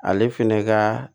Ale fɛnɛ ka